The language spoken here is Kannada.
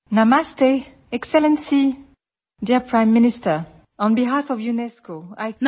audio UNESCO DG